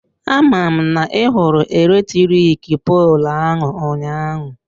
Aman na I hụrụ electric poolụ ahụ ụnyaahụ?